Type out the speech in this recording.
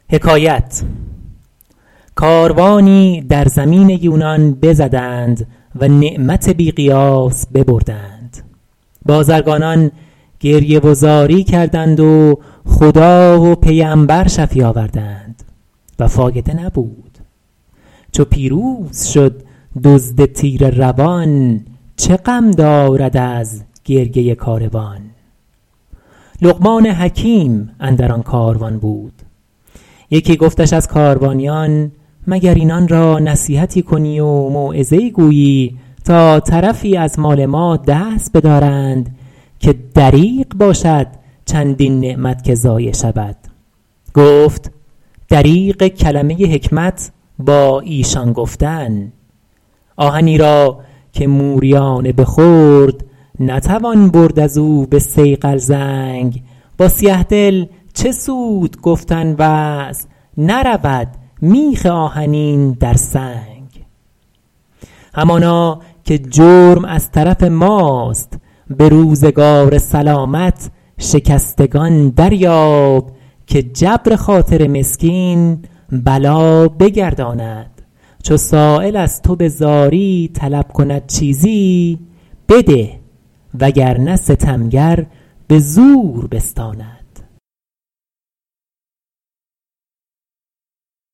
کاروانی در زمین یونان بزدند و نعمت بی قیاس ببردند بازرگانان گریه و زاری کردند و خدا و پیمبر شفیع آوردند و فایده نبود چو پیروز شد دزد تیره روان چه غم دارد از گریه کاروان لقمان حکیم اندر آن کاروان بود یکی گفتش از کاروانیان مگر اینان را نصیحتی کنی و موعظه ای گویی تا طرفی از مال ما دست بدارند که دریغ باشد چندین نعمت که ضایع شود گفت دریغ کلمه حکمت با ایشان گفتن آهنی را که موریانه بخورد نتوان برد از او به صیقل زنگ با سیه دل چه سود گفتن وعظ نرود میخ آهنی در سنگ همانا که جرم از طرف ماست به روزگار سلامت شکستگان دریاب که جبر خاطر مسکین بلا بگرداند چو سایل از تو به زاری طلب کند چیزی بده وگرنه ستمگر به زور بستاند